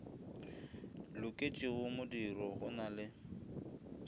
loketšego modiro go na le